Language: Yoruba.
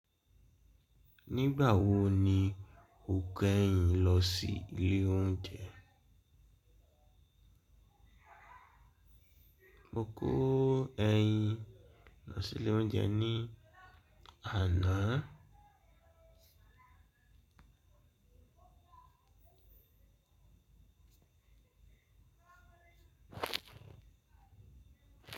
Nígbà wo ni o kẹ̀yìn lọ sí ilé oúnjẹ? Mo kó ẹyìn lọ sí ilé oúnjẹ ní àná.